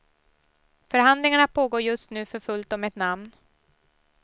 Förhandlingarna pågår just nu för fullt om ett namn.